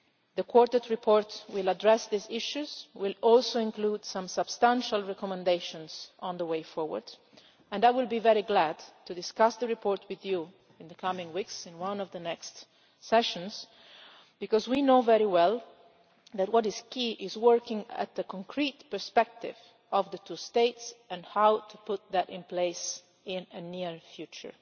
The Quartet report will address these issues and will also include some substantial recommendations for the way forward, and I will be very glad to discuss the report with you in the coming weeks in one of the next part sessions, because we know very well that what is key is working at the concrete perspective of the two states and how to put that in place in the near future.